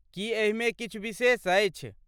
की एहिमे किछु विशेष अछि?